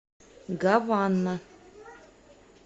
гавана